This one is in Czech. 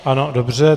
Ano, dobře.